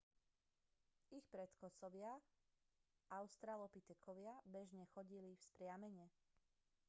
ich predchodcovia australopitekovia bežne nechodili vzpriamene